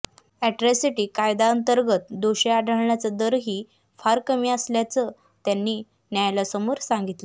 atrocity कायद्याअंतर्गत दोषी आढळण्याचा दरही फार कमी असल्याचं त्यांनी न्यायालयासमोर सांगितलं